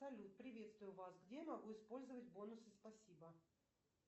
салют приветствую вас где я могу использовать бонусы спасибо